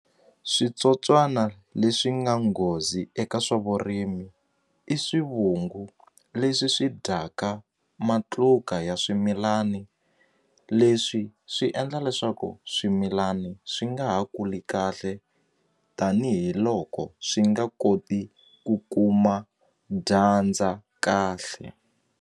Switsotswana leswi nga nghozi eka swa vurimi i swivungu leswi swi dyaka matluka ya swimilani leswi swi endla leswaku swimilani swi nga ha kuli kahle tanihiloko swi nga koti ku kuma dyandza kahle.